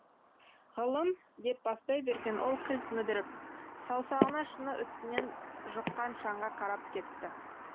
ғылым деп бастай берген ол кілт мүдіріп саусағына шыны үстінен жұққан шаңға қарап кетті